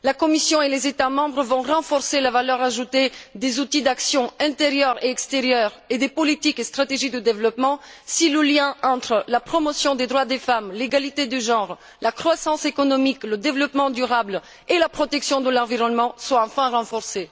La Commission et les États membres vont renforcer la valeur ajoutée des outils d'action intérieure et extérieure et des politiques et stratégies de développement si les liens entre la promotion des droits des femmes, l'égalité des genres, la croissance économique, le développement durable et la protection de l'environnement sont enfin renforcés.